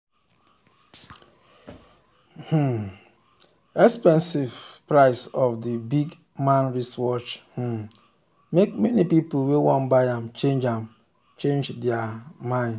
the um expensive price of the big-man wristwatch um make many people wey wan buy am change am change their um mind.